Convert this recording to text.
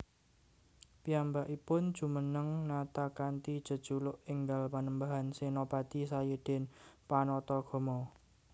Piyambakipun jumeneng nata kanthi jejuluk énggal Panembahan Sénapati Sayidin Panatagama